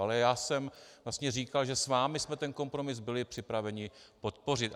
Ale já jsem vlastně říkal, že s vámi jsme ten kompromis byli připraveni podpořit.